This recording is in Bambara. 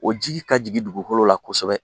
O jigin ka jigin dugukolo la kosɛbɛ